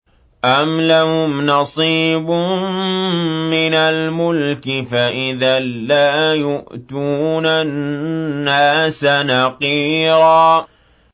أَمْ لَهُمْ نَصِيبٌ مِّنَ الْمُلْكِ فَإِذًا لَّا يُؤْتُونَ النَّاسَ نَقِيرًا